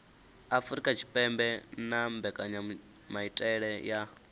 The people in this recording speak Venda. afurika tshipembe na mbekanyamaitele ya